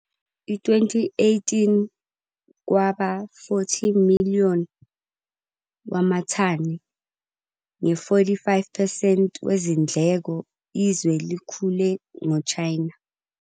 I-2018 kwaba 40 million wamathani, nge 45 percent wezindleko izwe likhule ngo China.